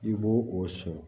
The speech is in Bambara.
I b'o o sɔrɔ